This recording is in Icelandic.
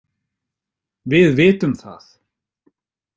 Við vitum það.